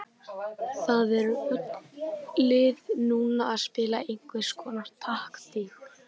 Það eru öll lið núna að spila einhverskonar taktík.